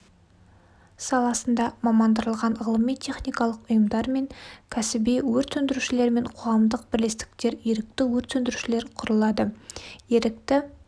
саласында мамандырылған ғылыми-техникалық ұйымдар мен кәсби өрт сөндірушілермен қоғамдық бірлестіктер ерікті өрт сөндірушілер құрылады ерікті